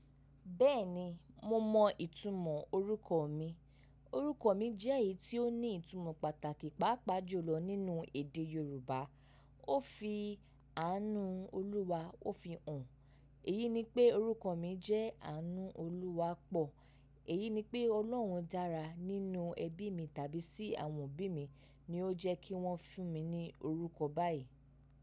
Bẹ́ẹ̀ni, mo mọ ìtumọ̀ orúkọ mi. Orúkọ mi jẹ́ èyí tí ó ní ìtumọ̀ pàtàkì, pàápàá jùlọ nínú èdè Yorùbá. Ó fi àánú Olúwa ó fi hàn. Èyí ni pé orúkọ mi jẹ́ Àánú Olúwa pọ̀. Èyí ni pé Ọlọ́run dára nínú ẹbí mi tàbí sí àwọn òbí mi ni ó jẹ́ kí wọ́n fún mi ní orúkọ báyìí.